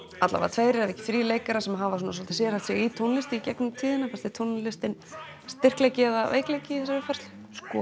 tveir ef ekki þrír leikarar sem hafa sérhæft sig í tónlist í gegnum tíðina fannst þér tónlistin styrkleiki eða veikleiki í þessari uppfærslu